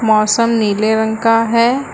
मौसम नीले रंग का है।